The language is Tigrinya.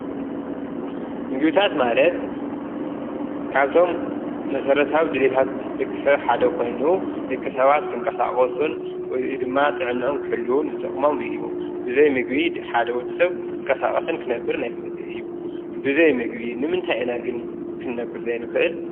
ምግቢታት ማለት ካብቶም መሰረታዊ ድልየታት ድቂ ሰብ ሓደ ኾይኑ ደቂ ሰባት ክንቀሳቕሱን ወይ ድማ ጥዕንኦም ክሕሉዉን ዝጠቕሞም እዩ፡፡ ብዘይ ምግቢ ሓደ ወዲ ሰብ ክንቀሳቐስን ክነብርን ኣይክእልይ እዩ፡፡ ብዘይ ምግቢ ንምንታይ ኢና ግን ክነብር ዘይንኽእል?